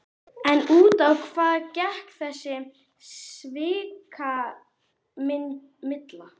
En út á hvað gekk þessi svikamylla?